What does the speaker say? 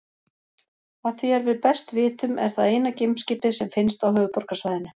Að því er við best vitum er það eina geimskipið sem finnst á Höfuðborgarsvæðinu.